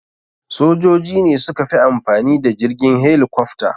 Sojoji ne suka fi amfani da jirgin helikofta.